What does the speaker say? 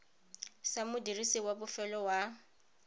sa modirisi wa bofelo wa